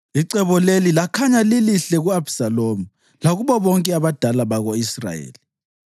Icebo leli lakhanya lilihle ku-Abhisalomu lakubo bonke abadala bako-Israyeli.